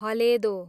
हलेदो